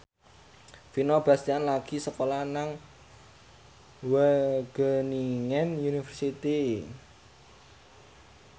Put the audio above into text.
Vino Bastian lagi sekolah nang Wageningen University